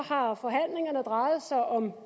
har forhandlingerne drejet sig om